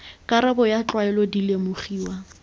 karabo ya tlwaelo di lemogiwa